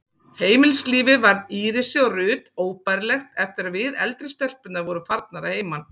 Heimilislífið varð Írisi og Ruth óbærilegt eftir að við, eldri stelpurnar, vorum farnar að heiman.